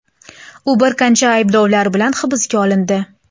U bir qancha ayblovlar bilan hibsga olindi.